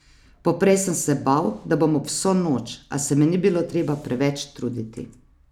Poprej sem se bal, da bom ob vso noč, a se mi ni bilo treba preveč truditi.